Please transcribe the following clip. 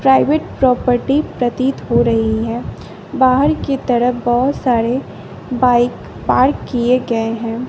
Private property प्रतीत हो रही है बाहर की तरफ बहुत सारे बाइक पार्क किए गए हैं।